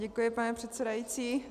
Děkuji, pane předsedající.